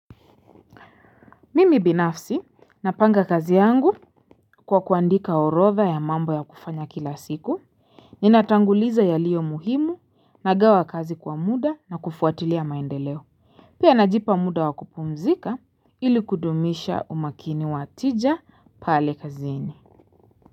Mimi binafsi, napanga kazi yangu kwa kuandika orodha ya mambo ya kufanya kila siku. Ninatanguliza yalio muhimu, nagawa kazi kwa muda na kufuatilia maendeleo. Pia najipa muda wakupumzika ili kudumisha umakini wa tija pale kazini.